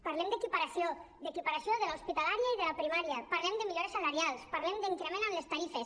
parlem d’equiparació d’equiparació de l’hospitalària i de la primària parlem de millores salarials parlem d’increment en les tarifes